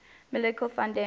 michiel van den